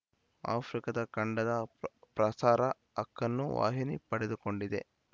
ಆಫ್ರಿಕಾದ ಖಂಡದ ಪ್ರಸಾರ ಹಕ್ಕನ್ನು ವಾಹಿನಿ ಪಡೆದುಕೊಂಡಿದೆ